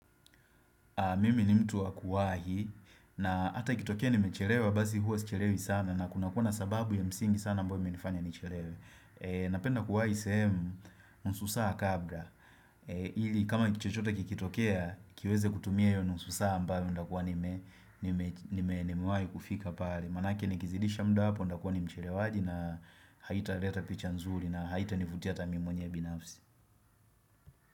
Mimi ni mtu wakuwahi na hata ikitokea nimechelewa basi huwa sichelewi sana na kunakua sababu ya msingi sana ambayo imenifanya nichelewe. Napenda kuwahi sehemu nusu saa kabla. Ili kama ni kitu chochote kikitokea, kiweze kutumia hiyo nusu saa ambayo ntakua nime, nime nimewahi kufika pale. Maanake nikizidisha muda hapo ntakua mchelewaji na haitaleta picha nzuri na haitanivutia hata mimi mwenyewe binafsi.